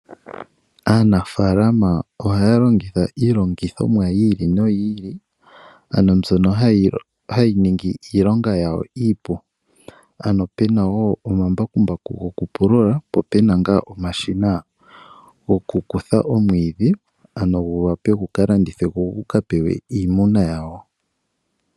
Aanafalama ohaya longitha iilongithomwa yi ili noyi ili ano mbyono hayi ningi iilonga yawo iipu. Ano pena wo omambakumbaku gokupulula po pena ngaa omashina gokukutha omwiidhi ano gu wape gu ka landithwe go guka pewe iimuna yawo.